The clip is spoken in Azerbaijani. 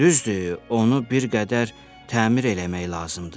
Düzdür, onu bir qədər təmir eləmək lazımdır.